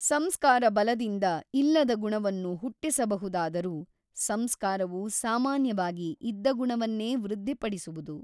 ಸಂಸ್ಕಾರಬಲದಿಂದ ಇಲ್ಲದ ಗುಣವನ್ನು ಹುಟ್ಟಿಸಬಹುದಾದರೂ ಸಂಸ್ಕಾರವು ಸಾಮಾನ್ಯವಾಗಿ ಇದ್ದ ಗುಣವನ್ನೇ ವೃದ್ಧಿಪಡಿಸುವುದು.